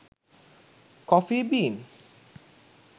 coffee bean